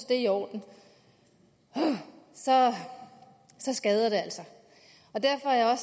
det er i orden puha så skader det altså derfor er